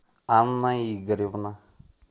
анна игоревна